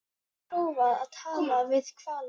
En hefur hún prófað að tala við hvali?